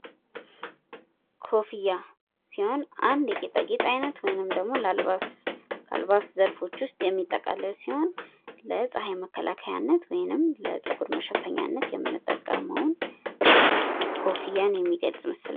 ኮፍያ ሲሆን አንድ የጌጣጌጥ አይነት ወይም ደግሞ አልባስ ዘርፎች ውስጥ የሚጠቃለል ሲሆን ለጸሐይ መከላከያነት ወይም ለጸጉር መሸፈኛነት የምንጠቀመው ኮፍያን የሚገልጽ ምስል ነው።